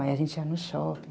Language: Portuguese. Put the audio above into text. Aí a gente ia no shopping.